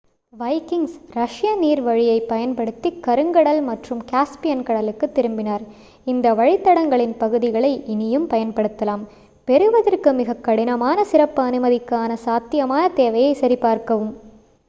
Vikings ரஷ்ய நீர்வழியைப் பயன்படுத்திக் கருங்கடல் மற்றும் காஸ்பியன் கடலுக்குத் திரும்பினார் இந்த வழித்தடங்களின் பகுதிகளை இனியும் பயன்படுத்தலாம் பெறுவதற்கு மிகக்கடினமான சிறப்பு அனுமதிக்கான சாத்தியமான தேவையைச் சரிபார்க்கவும்